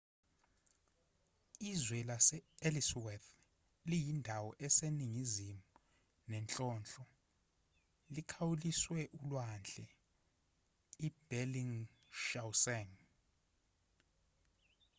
izwe lase-ellsworth liyindawo eseningizimu nenhlonhlo likhawuliswe ulwandle ibellingshausen